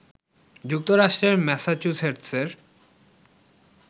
যুক্তরাষ্ট্রের ম্যাসাচুসেটসের